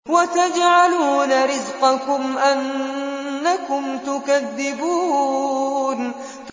وَتَجْعَلُونَ رِزْقَكُمْ أَنَّكُمْ تُكَذِّبُونَ